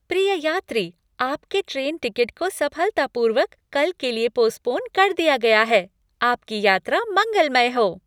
प्रिय यात्री, आपके ट्रेन टिकट को सफलतापूर्वक कल के लिए पोस्पोन कर दिया गया है। आपकी यात्रा मंगलमय हो!